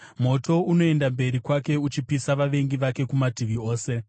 Moto unoenda mberi kwake uchipisa vavengi vake kumativi ose.